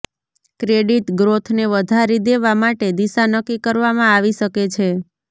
credit ગ્રોથને વધારી દેવા માટે દિશા નક્કી કરવામાં આવી શકે છે